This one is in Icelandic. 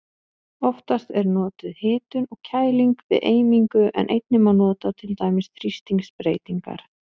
Oftast er notuð hitun og kæling við eimingu en einnig má nota til dæmis þrýstingsbreytingar.